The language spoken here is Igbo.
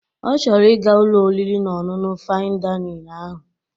Ọ chọrọ ị ga Ụlọ oriri na ọṅụṅụ Fain Dainịn ahụ